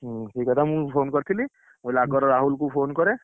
ହୁଁ, ସେଇକଥା ମୁଁ phone କରିଥିଲି, ମୁକହିଲି ଆଗ ରାହୁଲ phone କରେ।